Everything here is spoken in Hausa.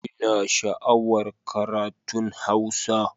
Ina sha'awar karatun Hausa